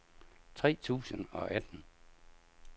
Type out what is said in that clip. tre tusind og atten